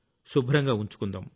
శుభ్రంగా ఉంచుకుందాం